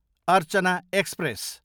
Archana express